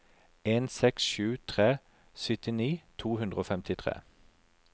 en seks sju tre syttini to hundre og femtitre